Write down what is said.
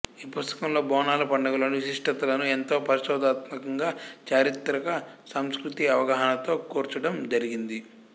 ఈ పుస్తకంలో బోనాల పండుగలోని విశిష్టతలను ఎంతో పరిశోధనాత్మకంగా చారిత్రక సాంస్కృతిక అవగాహనతో కూర్చడం జరిగింది